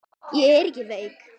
Ég er ekki veik.